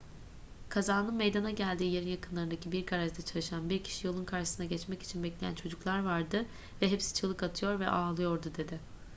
kazanın meydana geldiği yerin yakınlarındaki bir garajda çalışan bir kişi yolun karşısına geçmek için bekleyen çocuklar vardı ve hepsi çığlık atıyor ve ağlıyordu dedi